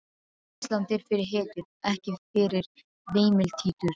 Ísland er fyrir hetjur, ekki fyrir veimiltítur.